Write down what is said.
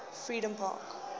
freedompark